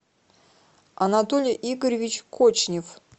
анатолий игоревич кочнев